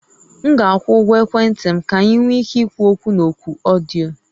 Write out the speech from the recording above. M ga-akwụ ụgwọ ekwentị m ka anyị nwee ike ikwu okwu na oku ọdịyo